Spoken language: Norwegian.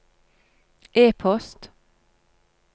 e-post